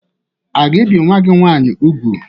A ga-ebi nwa gị nwaanyị úgwù?